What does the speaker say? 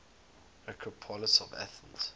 acropolis of athens